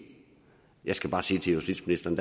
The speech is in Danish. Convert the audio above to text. jeg skal bare sige til justitsministeren